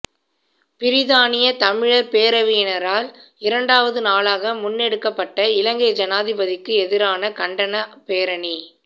பிரித்தானிய தமிழர் பேரவையினரால் இரண்டாவது நாளாக முன்னெடுக்கப்பட்ட இலங்கை ஜனாதிபதிக்கு எதிரான கண்டனப் பேரணி